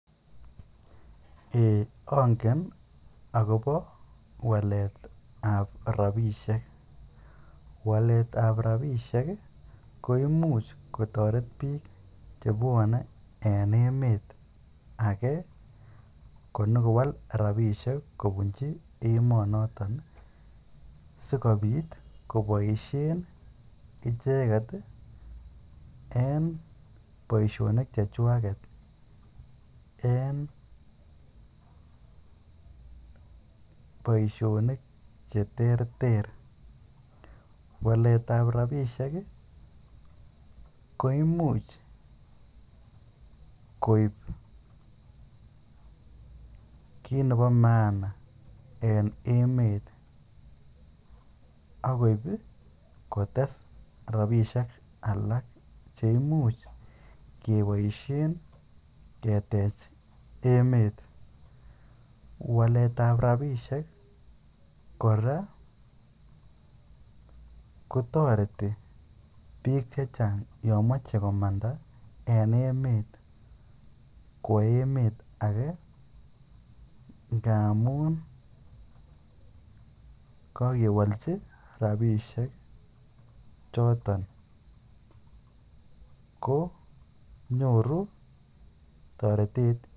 Eii ongen akobo waletab rabishek, waletab rabishek ko imuch kotoret biik chebwone en emet akee konyokowal rabishek konyokobunchi emonoton sikobit koboishen icheket en boishonik chechwaket en boishonik cheterter, waletab rabishek koimuch koib kiit nebo maana en emet ak koib kotes rabishek cheimuch keboishen ketech emet, waletab rabishek kora kotoreti biik chechang yomoche komanda en emet kwoo emet akee ngamun kokewolchi rabishek choton ko nyoru toretet.